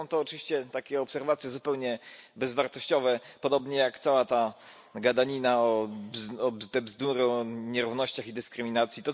Są to oczywiście takie obserwacje zupełnie bezwartościowe, podobnie jak cała ta gadanina, te bzdury o nierównościach i dyskryminacji.